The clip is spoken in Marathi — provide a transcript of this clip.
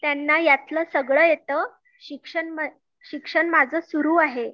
त्यांना यातलं सगळ येत शिक्षण माझं सुरु आहे